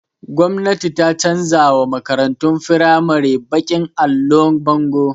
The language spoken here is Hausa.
Gwamnati ta canza wa makaratun firamari baƙin allon bango